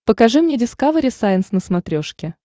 покажи мне дискавери сайенс на смотрешке